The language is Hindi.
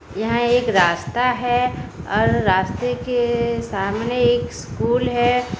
यहां एक रास्ता हैं और रास्ते के सामने एक स्कूल हैं।